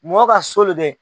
Mɔgɔ ka so lo dɛ.